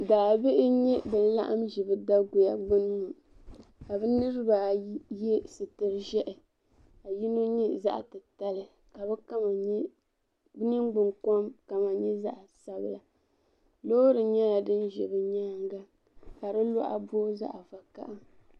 Daa bihi n nya bin' laɣim. n zi bidaguya. gbuni ŋɔ. ka bi niri b ayi ye sitiri zɛhi ka yinɔ nyɛ zaɣi ti tali ka bi niŋgbunkom kala nyala zaɣ' sabila loori nyɛla dinzɛ bi nyaaŋa ka di luɣa boo zaɣi zaɣ vakahili.